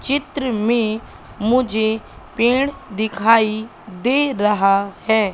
चित्र में मुझे पेड़ दिखाई दे रहा हैं।